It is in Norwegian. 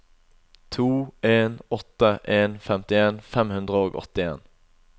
to en åtte en femtien fem hundre og åttien